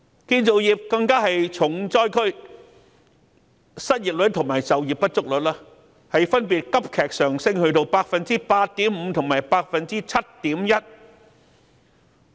建造業更是重災區，失業率及就業不足率分別急劇上升至 8.5% 及 7.1%。